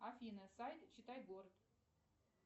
афина сайт читай город